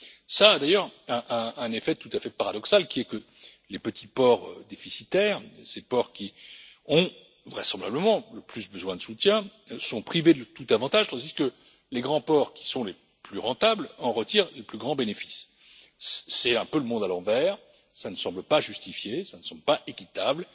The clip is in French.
Cela a d'ailleurs un effet tout à fait paradoxal, qui est que les petits ports déficitaires, ces ports qui ont vraisemblablement le plus besoin de soutien, sont privés de tout avantage, tandis que les grands ports, qui sont les plus rentables, en retirent le plus grand bénéfice. C'est un peu le monde à l'envers, et cela ne semble ni justifié, ni équitable.